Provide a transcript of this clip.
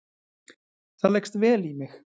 Það leggst vel í mig